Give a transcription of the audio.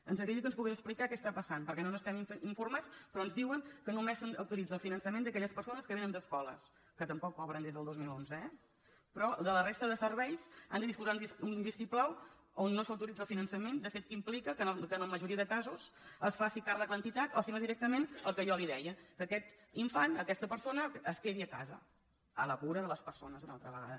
ens agradaria que ens pogués explicar què està passant perquè no n’estem informats però ens diuen que només s’autoritza el finançament d’aquelles persones que vénen d’escoles que tampoc cobren des del dos mil onze eh però de la resta de serveis han de disposar d’un vistiplau on no s’autoritza el finançament de fet que implica que en la majoria de casos se’n faci càrrec l’entitat o si no directament el que jo li deia que aquest infant aquesta persona es quedi a casa a la cura de les persones una altra vegada